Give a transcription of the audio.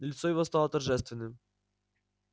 лицо его стало торжественным